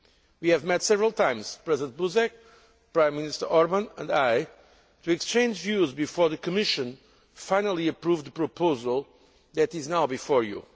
We have met several times President Buzek, Prime Minister Orbán and I to exchange views before the Commission finally approved the proposal that is now before you.